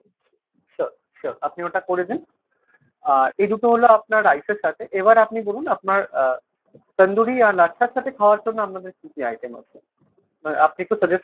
sure sure আপনি ওটা করে দিন। আহ এই দুটো হলো আপনার rice এর সাথে, এবার আপনি বলুন আপনার আহ তান্দুরি আর লাচ্ছার সাথে খাওয়ার জন্য আপনাদের কী কী item আছে ? আপনি একটু suggest করুন